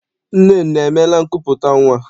Nnenne emeela nkupụta nnwa?